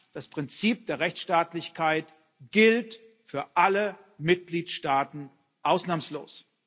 Nein, das Prinzip der Rechtsstaatlichkeit gilt für alle Mitgliedstaaten ausnahmslos.